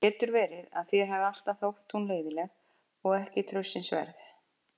Það getur verið að þér hafi alltaf þótt hún leiðinleg og ekki traustsins verð.